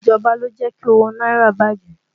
Ìjọba lọ jẹ́ kí owó náírà bàjẹ́